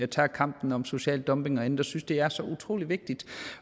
tager kampen om social dumping og andet jeg synes det er så utrolig vigtigt